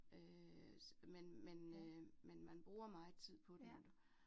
Øh men men øh men man bruger meget tid på den